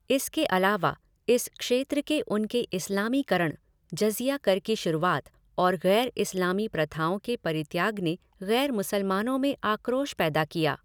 इसके अलावा, इस क्षेत्र के उनके इस्लामीकरण, जज़िया कर की शुरूआत और गैर इस्लामी प्रथाओं के परित्याग ने गैर मुसलमानों में आक्रोश पैदा किया।